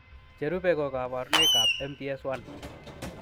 Cherube ko kabarunoikab MPS 1.